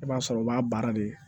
I b'a sɔrɔ o b'a baara de